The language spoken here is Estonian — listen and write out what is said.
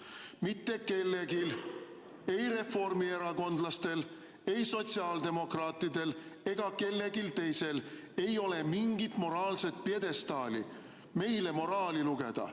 Mitte kellelgi, ei reformierakondlastel, ei sotsiaaldemokraatidel ega kellelgi teisel, pole mingit moraalset pjedestaali meile moraali lugeda.